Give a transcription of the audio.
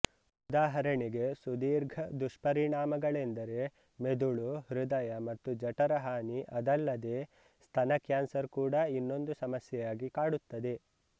ಉದಾಹರಣೆಗಾಗಿ ಸುದೀರ್ಘ ದುಷ್ಪರಿಣಾಮಗಳೆಂದರೆ ಮೆದುಳುಹೃದಯ ಮತ್ತು ಜಠರ ಹಾನಿ ಅದಲ್ಲದೇ ಸ್ತನ ಕ್ಯಾನ್ಸರ್ ಕೂಡಾ ಇನ್ನೊಂದು ಸಮಸ್ಯೆಯಾಗಿ ಕಾಡುತ್ತದೆ